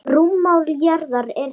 Rúmmál jarðar er því